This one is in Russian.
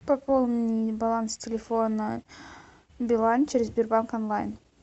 пополни баланс телефона билайн через сбербанк онлайн